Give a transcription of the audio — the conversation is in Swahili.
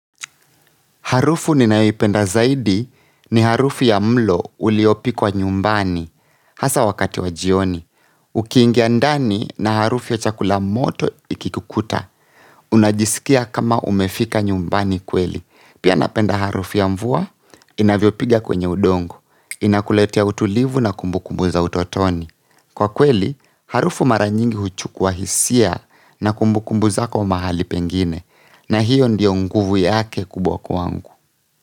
Harufu ninayo ipenda zaidi ni harufu ya mlo uliopikwa nyumbani hasa wakati wa jioni. Ukiingia ndani na harufu ya chakula moto ikitukuta. Unajisikia kama umefika nyumbani kweli. Pia napenda harufu ya mvua inavyo piga kwenye udongo. Inakuletea utulivu na kumbukumbu za utotoni. Kwa kweli, harufu mara nyingi huchua hisia na kumbukumbu zako mahali pengine. Na hiyo ndiyo nguvu yake kubwa kwangu.